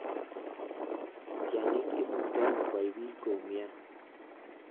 Tyang'ik imuktano kwai bii koumnyan.